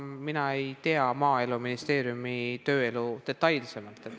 Mina ei tea Maaeluministeeriumi tööelu detailselt.